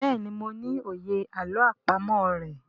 béèni mo ní òye àlọ́ àpamọ̀ rẹ.